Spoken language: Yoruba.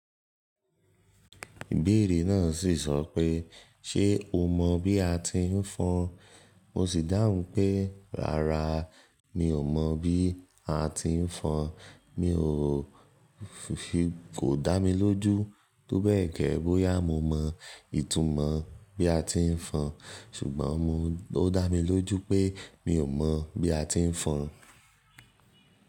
Ìbéèrè náà sì sọ pé, "Ṣé o mọ bí a ti ń fọn?" Mo sì dáhùn pé, "Rárá, mi ò mọ̀ bí a ti ń fọn." Mi ò fi kò dá mi lójú tó bẹ́ẹ̀gẹ́ bóyá mo mọ ìtumò bí a ti ń fọn, ṣùgbọ́n mo dá mi lójú pé mi ò mọ̀ bí a ti ń fọn.